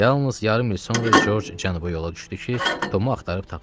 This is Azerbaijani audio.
Yalnız yarım il sonra Corc cənuba yola düşdü ki, Tomu axtarıb tapsın.